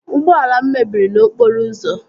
Ụgbọala m mebiri n'okporo ụzọ